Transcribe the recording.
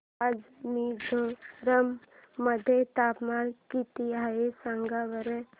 आज मिझोरम मध्ये तापमान किती आहे सांगा बरं